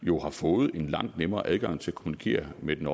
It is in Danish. jo har fået en langt nemmere adgang til at kommunikere med den